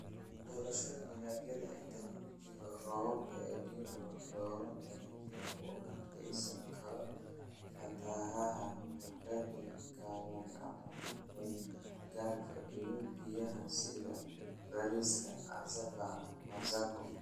"Doorashada dalagyada Inta lagu jiro roobabka El Nino, dooro dalagyada u adkeysan kara fatahaadaha muddada gaaban ama ku-meel-gaarka ah iyo biyaha sida bariiska, cassava, masago.